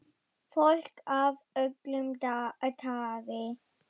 Fólk af öllu tagi.